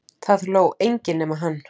Það hló enginn nema hann.